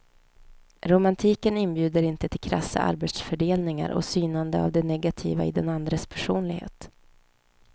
Romantiken inbjuder inte till krassa arbetsfördelningar och synande av det negativa i den andres personlighet.